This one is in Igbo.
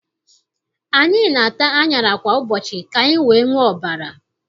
Anyị na-ata aṅara kwa ụbọchị ka anyị wee nwee ọbara.